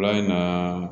in na